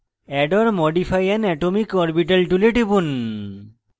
add or modify an atomic orbital tool টিপুন